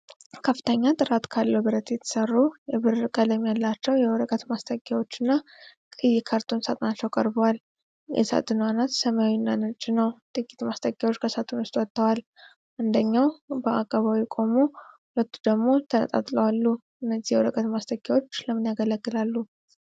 ከፍተኛ ጥራት ካለው ብረት የተሰሩ የብር ቀለም ያላቸው የወረቀት ማስጠጊያዎችና ቀይ የካርቶን ሳጥናቸው ቀርበዋል። የሳጥኑ አናት ሰማያዊና ነጭ ነው። ጥቂት ማስጠጊያዎች ከሳጥኑ ወጥተዋል፤ አንደኛው በአቀባዊ ቆሞ ሁለቱ ደግሞ ተነጣጥለው አሉ። እነዚህ የወረቀት ማስጠጊያዎች ለምን ያገለግላሉ?